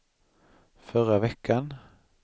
förra veckan